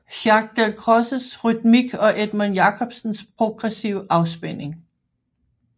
Jacques Dalcrozes rytmik og Edmund Jacobsens progressive afspænding